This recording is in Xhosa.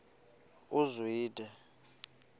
uzwide